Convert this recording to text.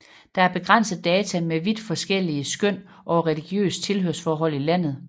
Der er begrænset data med vidt forskellige skøn over religiøst tilhørsforhold i landet